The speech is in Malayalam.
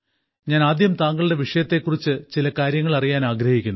ഞാൻ ആദ്യം താങ്കളുടെ വിഷയത്തെ കുറിച്ച് ചില കാര്യങ്ങൾ അറിയാൻ ആഗ്രഹിക്കുന്നു